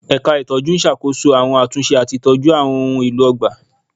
Ẹ̀ka ìtọ́jú n ṣàkóso àwọn àtúnṣe àti ìtọ́jú àwọn ohùn mi èlò ọgbà